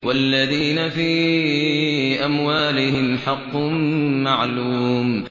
وَالَّذِينَ فِي أَمْوَالِهِمْ حَقٌّ مَّعْلُومٌ